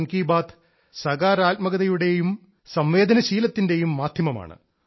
മൻ കി ബാത്ത് സാകാരാത്മകതയുടെയും സംവേദനശീലത്തിന്റെയും മാധ്യമമാണ്